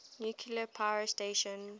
nuclear power station